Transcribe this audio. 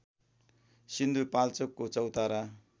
सिन्धुपाल्चोकको चौतारा